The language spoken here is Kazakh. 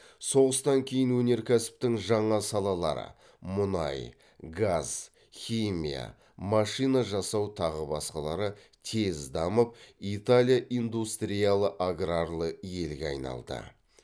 соғыстан кейін өнеркәсіптің жаңа салалары тез дамып италия индустриялы аграрлы елге айналды